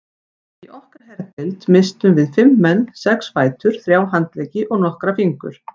Í okkar herdeild misstum við fimm menn, sex fætur, þrjá handleggi og nokkra fingur.